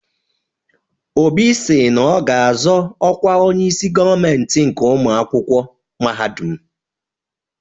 Obi si na ọ ga-azọ ọkwa Onyeisi gọọmentị nke ụmụ akwụkwọ mahadum.